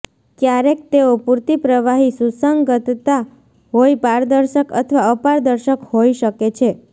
ક્યારેક તેઓ પૂરતી પ્રવાહી સુસંગતતા હોય પારદર્શક અથવા અપારદર્શક હોઈ શકે છે